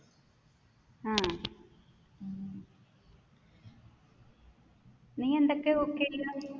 നീയെന്തൊക്കെ cook ചെയ്യുന്നത്?